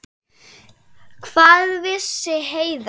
Hvað vissi Heiða?